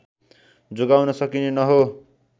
जोगाउन सकिने न हो